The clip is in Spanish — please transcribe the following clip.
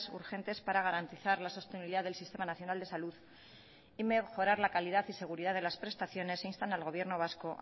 urgentes para garantizar la sostenibilidad del sistema nacional de salud y mejorar la calidad y seguridad de las prestaciones e instan al gobierno vasco